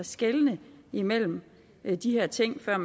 skelne imellem de her ting før